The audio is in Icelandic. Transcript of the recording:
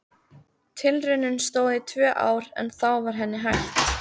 Tilraunin stóð í tvö ár en þá var henni hætt.